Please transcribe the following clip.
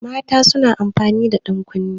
Mata suna amfani da ɗankunne.